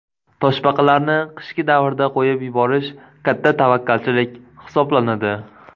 Toshbaqalarni qishgi davrda qo‘yib yuborish katta tavakkalchilik hisoblanadi.